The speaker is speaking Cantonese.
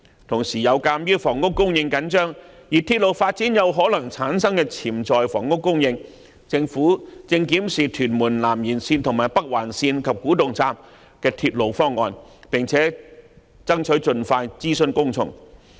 同時，鑒於房屋供應緊張，而鐵路發展有可能產生的潛在房屋供應，政府正檢視屯門南延線及北環線的鐵路方案，並爭取盡快諮詢公眾。